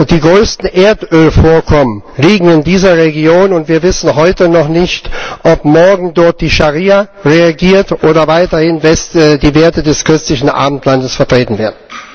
Die größten Erdölvorkommen liegen in dieser Region, und wir wissen heute noch nicht, ob morgen dort die Scharia regiert oder weiterhin die Werte des christlichen Abendlandes vertreten werden.